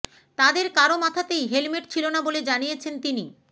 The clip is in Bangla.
তাদের কারো মাথাতেই হেলমেট ছিল না বলে জানিয়েছেন তিনি